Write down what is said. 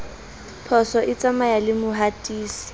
phoso e tsamaya le mohatisi